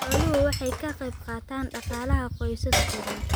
Xooluhu waxay ka qaybqaataan dhaqaalaha qoysas badan.